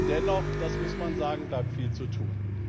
Dennoch, dass muss man sagen, bleibt viel zu tun.